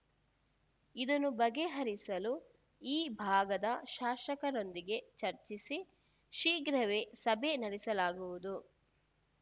ಇದನ್ನು ಬಗೆಹರಿಸಲು ಈ ಭಾಗದ ಶಾಸಕರೊಂದಿಗೆ ಚರ್ಚಿಸಿ ಶೀಘ್ರವೇ ಸಭೆ ನಡೆಸಲಾಗುವುದು